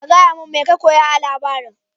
ka gayamin mai ka koya a labarin.